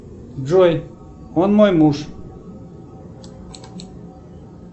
джой он мой муж